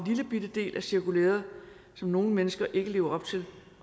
lillebitte del af cirkulæret som nogle mennesker ikke lever op til